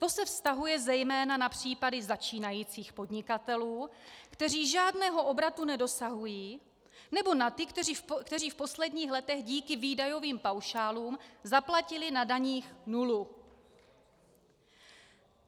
To se vztahuje zejména na případy začínajících podnikatelů, kteří žádného obratu nedosahují, nebo na ty, kteří v posledních letech díky výdajovým paušálům zaplatili na daních nulu.